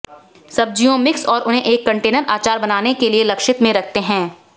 सब्जियों मिक्स और उन्हें एक कंटेनर अचार बनाने के लिए लक्षित में रखते हैं